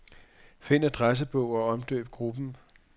Find adressebog og omdøb gruppen.